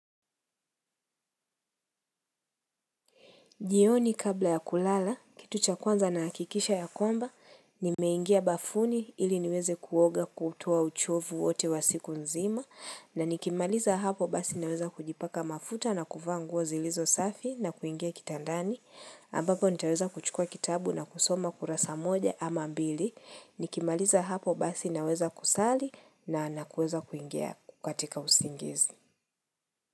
Jioni kabla ya kulala, kitu cha kwanza nahakikisha ya kwamba, nimeingia bafuni ili niweze kuoga kutoa uchovu wote wa siku nzima, na nikimaliza hapo basi naweza kujipaka mafuta na kuvaa nguo zilizo safi na kuingia kitandani, ambapo nitaweza kuchukua kitabu na kusoma kurasa moja ama mbili, nikimaliza hapo basi naweza kusali na na kuweza kuingia katika usingizi.